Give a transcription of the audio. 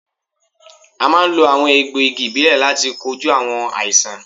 À máa ń lo àwọn egbò igi ìbílè láti kojú àwọn àìsàn